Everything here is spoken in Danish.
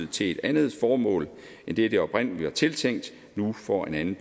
til et andet formål end det det oprindelig var tiltænkt nu får en anden